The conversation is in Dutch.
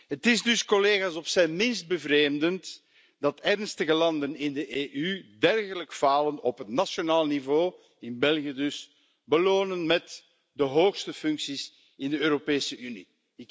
Het is dus op zijn minst bevreemdend dat ernstige landen in de EU dergelijk falen op het nationale niveau in België dus belonen met de hoogste functies in de Europese Unie.